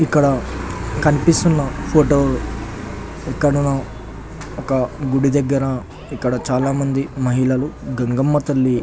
ఇక్కడ కనిపిస్తున్న ఫోటో ఎక్కడనో ఒక గుడి దగ్గర ఇక్కడ చాలా మంది మహిళలు గంగమ్మ తల్లి--